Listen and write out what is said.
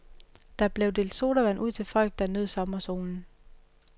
Der blev delt sodavand ud til folk, der nød sommersolen.